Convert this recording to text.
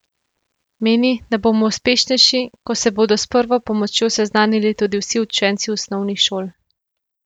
Meni, da bomo uspešnejši, ko se bodo s prvo pomočjo seznanili tudi vsi učenci osnovnih šol.